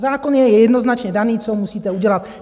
Zákon je jednoznačně daný, co musíte udělat.